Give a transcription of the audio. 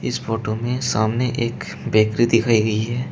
इस फोटो में सामने एक बेकरी दिखाई गई है।